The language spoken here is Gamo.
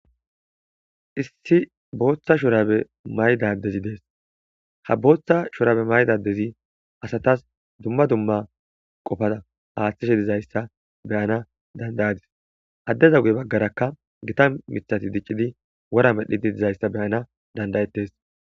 Issi booththa shorabe maydadezi dees ha booththa shorabe maydadezi asatas dumma dumma qofada aaththishe dizayssa beyana dandayadis addeza guye baggaraka gita mithati diccidi wora medhdhidi dizayssa beyana dandayetes.